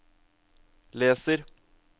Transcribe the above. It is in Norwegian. leser